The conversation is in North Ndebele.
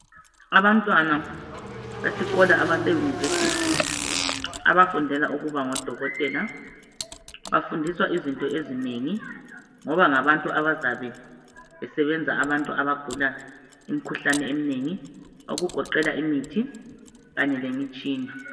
Abantwana abesikolo abase university abafundela ukuba ngodokotela bafundiswa izinto ezinengi ngoba ngabantu abazabe besebenza ngemikhuhlane eminengi okugoqela imithi kanye lemitshina